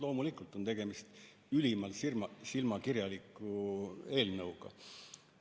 Loomulikult on tegemist ülimalt silmakirjaliku eelnõuga.